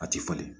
A ti falen